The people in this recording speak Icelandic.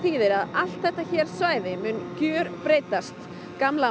allt þetta svæði mun gjörbreytast gamla